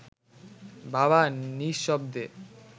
বাবা নিঃশব্দে